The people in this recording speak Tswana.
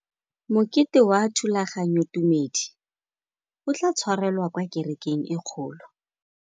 Mokete wa thulaganyôtumêdi o tla tshwarelwa kwa kerekeng e kgolo.